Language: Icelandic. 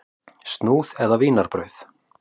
Snúð eða vínarbrauð?